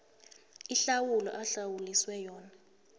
ihlawulo ahlawuliswe yona